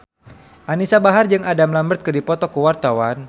Anisa Bahar jeung Adam Lambert keur dipoto ku wartawan